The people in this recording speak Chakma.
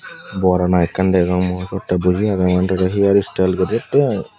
bor ana ekkan degong oteh boji ageh wandareh hair style goretty i.